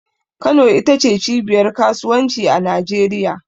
Kano ita ce cibiyar kasuwanci a Najeriya.